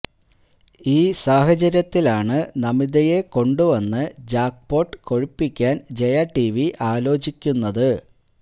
ഈ സാഹചര്യത്തിലാണ് നമിതയെ കൊണ്ടുവന്ന് ജാക്പോട്ട് കൊഴുപ്പിയ്ക്കാന് ജയ ടിവി ആലോചിയ്ക്കുന്നത്